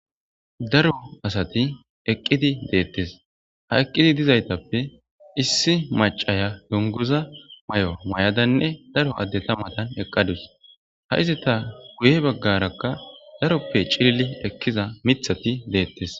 Daro asati eqidi de'etes ha eqidi dizaytappe issi macaya dungiza mayo mayadanne daro addeta matan eqadus ha izzetas guye bagaraka daroppe cilili ekiza mithati detes